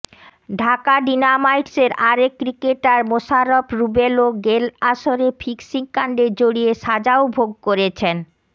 ঢাকা ডিনামাইটসের আরেক ক্রিকেটার মোশাররফ রুবেলও গেল আসরে ফিক্সিং কাণ্ডে জড়িয়ে সাজাও ভোগ করেছেন